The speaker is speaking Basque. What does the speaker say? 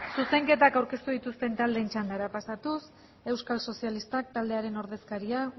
zuzenketak aurkeztu dituzten taldeen txandara pasatuz euskal sozialistak taldearen ordezkariak